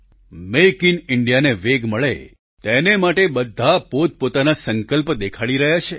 make in ઈન્ડિયાને વેગ મળે તેને માટે બધા પોતપોતાના સંકલ્પ દેખાડી રહ્યા છે